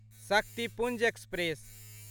Shaktipunj express